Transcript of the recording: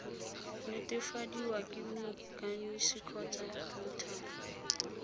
netefadiwa ke moikanisi kgotsa notary